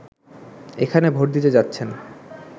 এখানে ভোট দিতে যাচ্ছেন